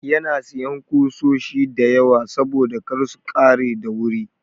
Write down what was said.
Yana sayan ƙusoshi da yawa saboda kar su ƙare da wuri.